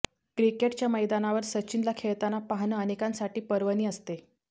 क्रिकेटच्या मैदानावर सचिनला खेळताना पाहणं अनेकांसाठी पर्वणी असते